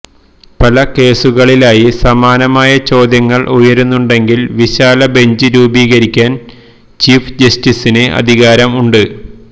പല കേസുകളിലായി സമാനമായ ചോദ്യങ്ങൾ ഉയരുന്നുണ്ടെങ്കിൽ വിശാല ബെഞ്ച് രൂപീകരിക്കാൻ ചീഫ് ജസ്റ്റിസിന് അധികാരം ഉണ്ട്